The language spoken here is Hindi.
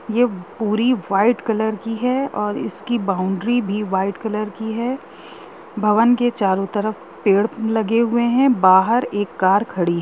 ये पूरी वाइट कलर की हैऔर इसकी बाउंड्री भी वाइट कलर की है भवन के चारों तरफ लगे हुए है बाहर एक कार खड़ी है।